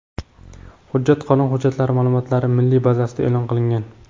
Hujjat qonun hujjatlari ma’lumotlari milliy bazasida e’lon qilingan.